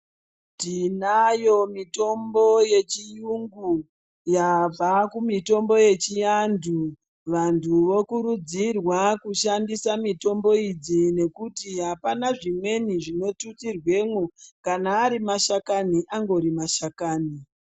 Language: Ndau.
Tinayo mitombo yechiyungu yabva kumitombo yechiandu vantu vokurudzirwa kushandisa mitombo idzi nekuti apana zvimweni zvinotutsirwemwo kana ari mashakani angori mashakani